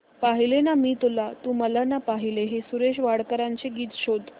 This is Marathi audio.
पाहिले ना मी तुला तू मला ना पाहिले हे सुरेश वाडकर यांचे गीत शोध